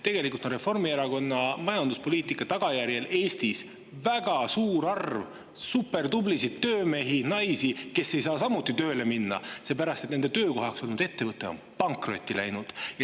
Tegelikult on Reformierakonna majanduspoliitika tagajärjel Eestis väga suur arv supertublisid töömehi-naisi, kes ei saa samuti tööle minna, aga seepärast, et nende töökohaks olnud ettevõte on pankrotti läinud.